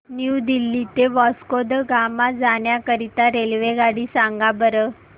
new Delhi ते वास्को द गामा जाण्या करीता रेल्वेगाडी सांगा बरं